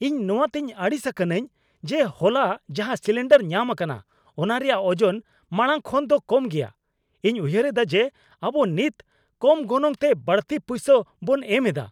ᱤᱧ ᱱᱚᱣᱟ ᱛᱮᱧ ᱟᱹᱲᱤᱥ ᱟᱠᱟᱱᱟᱧ ᱡᱮ ᱦᱚᱞᱟ ᱡᱟᱦᱟᱸ ᱥᱤᱞᱤᱱᱰᱟᱨ ᱧᱟᱢ ᱟᱠᱟᱱᱟ ᱚᱱᱟ ᱨᱮᱭᱟᱜ ᱚᱡᱚᱱ ᱢᱟᱲᱟᱝ ᱠᱷᱚᱱ ᱫᱚ ᱠᱚᱢ ᱜᱮᱭᱟ ᱾ ᱤᱧ ᱩᱭᱦᱟᱹᱨ ᱮᱫᱟ ᱡᱮ ᱟᱵᱚ ᱱᱤᱛ ᱠᱚᱢ ᱜᱚᱱᱚᱝ ᱛᱮ ᱵᱟᱹᱲᱛᱤ ᱯᱩᱭᱥᱟᱹ ᱵᱚᱱ ᱮᱢ ᱮᱫᱟ ᱾